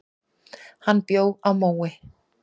Hann bjó á Mói.